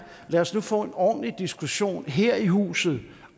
lad os nu få en ordentlig diskussion her i huset